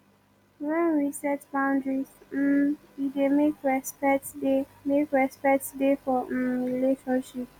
when we set boundaries um e dey make respect dey make respect dey for um relationship